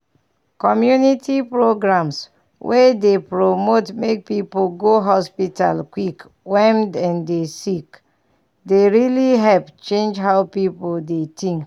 community programs wey dey promote make people go hospital quick when dem dey sick dey really help change how people dey think.